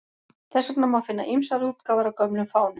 Þess vegna má finna ýmsar útgáfur af gömlum fánum.